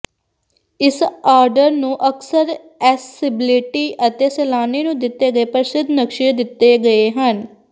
ਇਸ ਆਰਡਰ ਨੂੰ ਅਕਸਰ ਅਸੈਸਬਿਲਟੀ ਅਤੇ ਸੈਲਾਨੀ ਨੂੰ ਦਿੱਤੇ ਗਏ ਪ੍ਰਸਿੱਧ ਨਕਸ਼ੇ ਦਿੱਤੇ ਗਏ ਹਨ